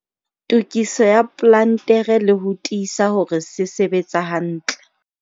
Tokiso ya plantere le ho tiisa hore se sebetsa hantle.